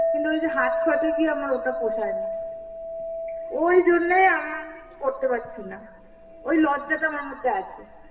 কিন্তু ওই যে হাট ফাটে গিয়ে আমার ওটা পোষায় না, ওই জন্যেই আমি করতে পারছি না. ওই লজ্জাটা আমার মধ্যে আছে.